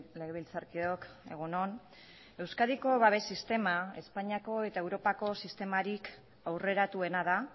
legebiltzarkideok egun on euskadiko babes sistema espainiako eta europako sistemarik aurreratuena da